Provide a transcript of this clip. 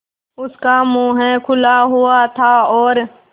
उसका मुख खुला हुआ था और